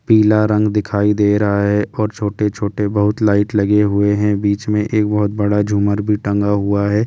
पीला रंग दिखाई दे रहा है और छोटे छोटे बहोत लाइट लगे हुए है बीच में एक बहोत बड़ा झूमर भी टंगा हुआ है नीचे--